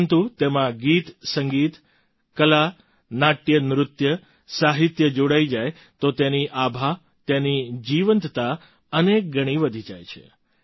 પરંતુ તેમાં ગીતસંગીત કલા નાટ્યનૃત્ય સાહિત્ય જોડાય જાય તો તેની આભા તેની જીવંતતા અનેક ગણી વધી જાય છે